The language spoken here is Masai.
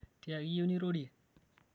tiaki iyieu nirorie